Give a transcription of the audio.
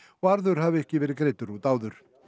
arður hafi ekki verið greiddur út áður